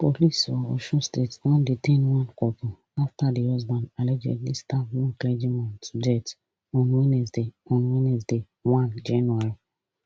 police for osun state don detain one couple afta di husband allegedly stab one clergy man to death on wednesday on wednesday one january